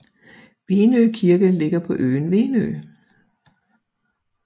Venø Kirke ligger på øen Venø